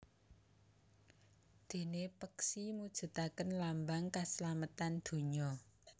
Déné peksi mujudaken lambang kaslametan dunya